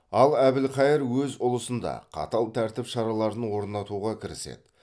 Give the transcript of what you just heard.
ал әбілхайыр өз ұлысында қатал тәртіп шараларын орнатуға кіріседі